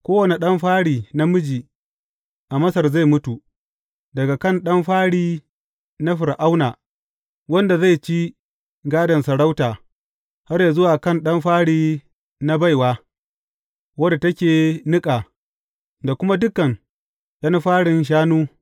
Kowane ɗan fari, namiji, a Masar zai mutu, daga kan ɗan fari na Fir’auna wanda zai ci gadon sarauta, har zuwa kan ɗan fari na baiwa, wadda take niƙa, da kuma dukan ’yan farin shanu.